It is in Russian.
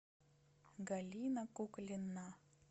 галина куклина